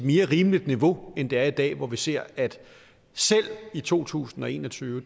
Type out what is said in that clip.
mere rimeligt niveau end det er i dag hvor vi ser at selv i to tusind og en og tyve